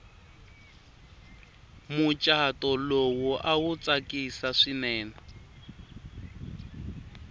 muchato lowu awu tsakisi swinene